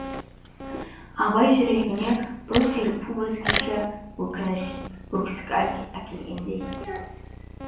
абай жүрегіне бұл серпу өзгеше өкініш өксік әкелгендей